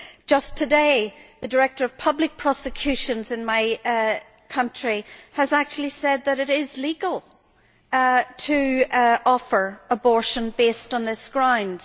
Just today the Director of Public Prosecutions in my country has actually said that it is legal to offer abortion based on these grounds.